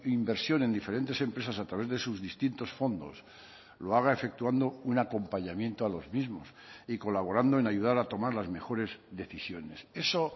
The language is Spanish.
inversión en diferentes empresas a través de sus distintos fondos lo haga efectuando un acompañamiento a los mismos y colaborando en ayudar a tomar las mejores decisiones eso